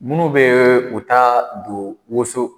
Minnu bɛ u ta don woso